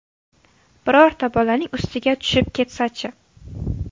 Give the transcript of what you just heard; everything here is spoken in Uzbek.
Birorta bolaning ustiga tushib ketsa-chi?